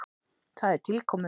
Það er tilkomumikið.